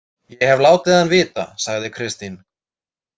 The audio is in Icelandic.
Ég hef látið hann vita, sagði Kristín.